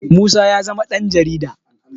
musa ya zama Dan jarida